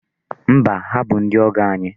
Mba, ha bụ ndị ọgọ anyị.